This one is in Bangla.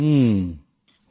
হুম হুম